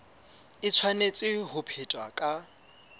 e tshwanetse ho phethwa ka